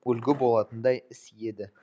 үлгі болатындай іс еді